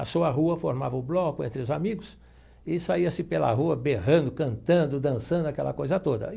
A sua rua formava o bloco entre os amigos e saía-se pela rua berrando, cantando, dançando, aquela coisa toda.